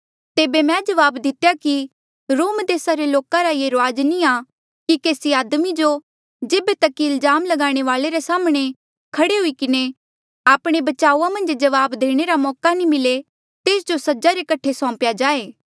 तेबे मैं जवाब दितेया कि रोम देसा रे लोका रा ये रूआज नी आ कि केसी आदमी जो जेबे तक कि इल्जाम लगाणे वाले रे साम्हणें खड़े हुई किन्हें आपणे बचाऊआ मन्झ जवाब देणे रा मौका ना मिले तेस जो सजा रे कठे सौम्पेया जाए